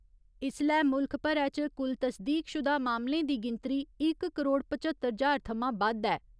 इसलै मुल्ख भरै च कुल तसदीकशुदा मामलें दी गिनतरी इक करोड़ पच्हत्तर ज्हार थमां बद्द ऐ।